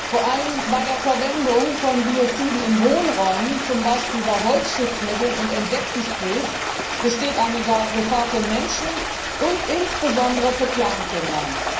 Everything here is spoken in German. Vor allem bei der Verwendung von Bioziden in Wohnräumen, zum Beispiel bei Holzschutzmitteln und Insektensprays, besteht eine Gefahr für Menschen und insbesondere für Kleinkinder.